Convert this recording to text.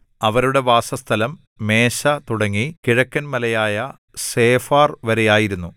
അവരുടെ വാസസ്ഥലം മേശാതുടങ്ങി കിഴക്കൻമലയായ സെഫാർവരെ ആയിരുന്നു